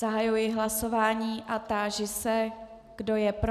Zahajuji hlasování a táži se, kdo je pro.